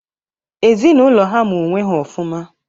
Ezinaụlọ ha maa onwe ha ọfụma.